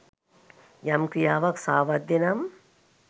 යම් ක්‍රියාවක් සාවද්‍ය නම්